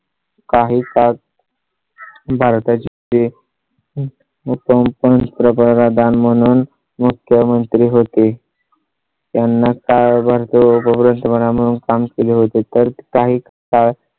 काही तास . भारता ची पंतप्रधान म्हणून मुख्यमंत्री होते. त्यांना काळ काम केले होते तर काही काळ.